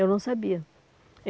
Eu não sabia.